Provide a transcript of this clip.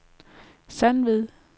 Sandved